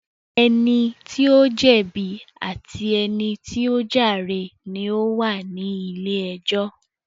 Ẹni tí ó jẹ̀bi àti ẹni tí ó jàre ni ó wà ní ilé ẹjọ́